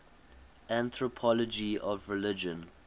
anthropology of religion